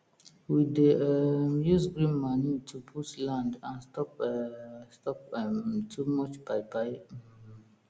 we dey um use green manure to boost land and stop um stop um too much buy buy um